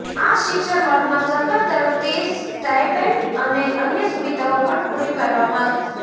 આ શિક્ષણ વર્ગમાં સરકાર તરફથી સ્ટાઈપેન્ડ અને અન્ય સુવિધાઓ પણ પૂરી પાડવામાં આવશે